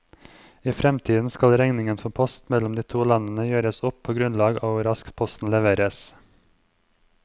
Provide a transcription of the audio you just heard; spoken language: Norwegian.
I fremtiden skal regningen for post mellom de to landene gjøres opp på grunnlag av hvor raskt posten leveres.